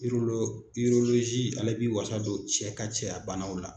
ale b'i wasa don cɛ ka cɛya banaw la.